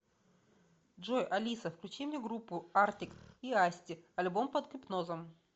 джой алиса включи мне группу артик и асти альбом под гипнозом